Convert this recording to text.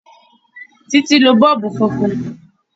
Títí lo bọ́ọ̀bù funfun